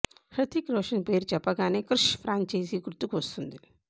హృతిక్ రోషన్ పేరు చెప్పగానే క్రిష్ ప్రాంచైజీ గుర్తుకు వస్తుంది